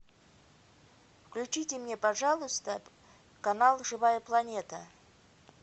включите мне пожалуйста канал живая планета